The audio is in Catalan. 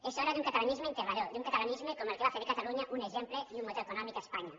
és hora d’un catalanisme integrador d’un catalanisme com el que va fer de catalunya un exemple i un motor econòmic a espanya